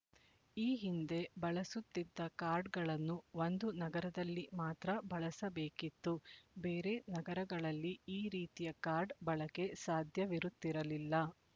ಈ ಹಿಂದೆ ಬಳಸುತ್ತಿದ್ದ ಕಾರ್ಡ್‌ಗಳನ್ನು ಒಂದು ನಗರದಲ್ಲಿ ಮಾತ್ರ ಬಳಸಬೇಕಿತ್ತು ಬೇರೆ ನಗರಗಳಲ್ಲಿ ಈ ರೀತಿಯ ಕಾರ್ಡ್ ಬಳಕೆ ಸಾಧ್ಯವಿರುತ್ತಿರಲಿಲ್ಲ